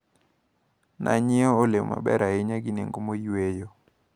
Nanyiewo olemo maber ahinya gi nengo moyweyo.